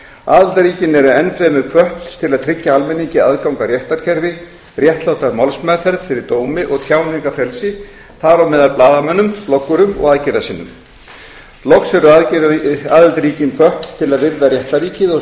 aðildarríkin eru enn fremur hvött til að tryggja almenningi aðgang að réttarkerfi réttláta málsmeðferð fyrir dómi og tjáningarfrelsi þar á meðal blaðamönnum bloggurum og aðgerðasinnum loks eru aðildarríkin hvött til að virða réttarríkið og